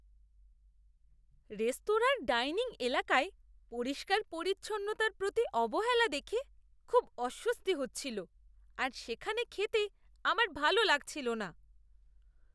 রেস্তোরাঁর ডাইনিং এলাকায় পরিষ্কার পরিচ্ছন্নতার প্রতি অবহেলা দেখে খুব অস্বস্তি হচ্ছিল আর সেখানে খেতে আমার ভালো লাগছিল না।